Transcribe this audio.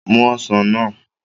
Mu ọsàn náà